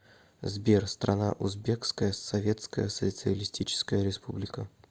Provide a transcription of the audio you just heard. сбер страна узбекская советская социалистическая республика